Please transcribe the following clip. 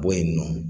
Bɔ yen nɔ